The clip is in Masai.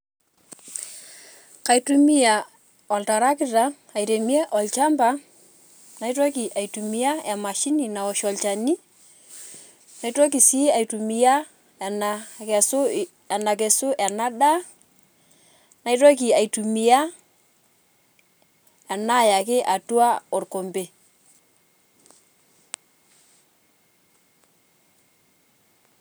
Kaitumia olatarikita airemia olchamba, naitoki aitumia emashini naosh olchani naitokii sii aitumia ena kesu ena daa, naitoki iatumia enayaki atua orkombe.